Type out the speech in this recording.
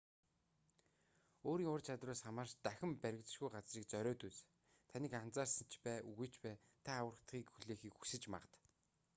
өөрийн ур чадвараас хамаарч дахин баригдашгүй газрыг зориод үз таныг анзаарсан ч бай үгүй ч бай та аврагдахыг хүлээхийг хүсэж магад